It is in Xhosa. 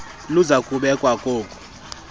luza kubekwa kolu